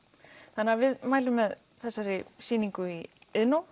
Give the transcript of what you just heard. þannig við mælum með þessari sýningu í Iðnó